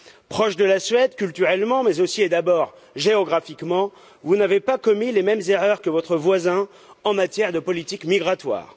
Proche de la Suède, culturellement mais aussi et d'abord géographiquement, vous n'avez pas commis les mêmes erreurs que votre voisin en matière de politique migratoire.